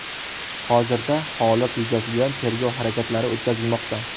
Hozirda holat yuzasidan tergov harakatlari o‘tkazilmoqda.